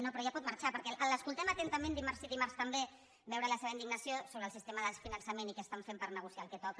no però ja pot marxar perquè l’escoltem atentament dimarts sí dimarts també veure la seva indignació sobre el sistema de finançament i què estan fent per negociar el que toca